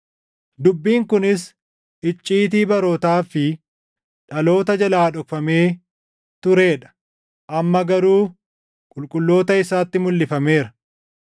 dubbiin kunis icciitii barootaa fi dhaloota jalaa dhokfamee turee dha; amma garuu qulqulloota isaatti mulʼifameera.